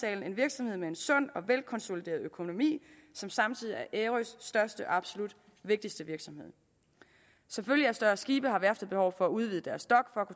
er en virksomhed med en sund og velkonsolideret økonomi som samtidig er ærøs største og absolut vigtigste virksomhed som følge af større skibe har værftet behov for at udvide deres dok for